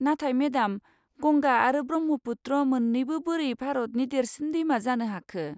नाथाय मेडाम, गंगा आरो ब्रह्मपुत्र मोन्नैबो बोरै भारतनि देरसिन दैमा जानो हाखो?